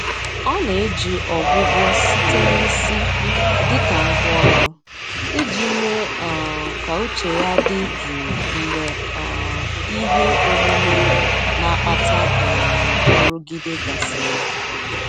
Ọ na-eji Ọgwụgwọ site na isi dịka ngwá ọrụ, iji mee um ka uche ya dị jụụ mgbe um ihe omume na-akpata um nrụgide gasịrị.